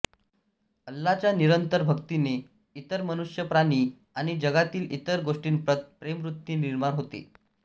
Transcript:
अल्लाहच्या निरंतर भक्तीने इतर मनुष्य प्राणी आणि जगातील इतर गोष्टींप्रत प्रेमवृत्ती निर्माण होते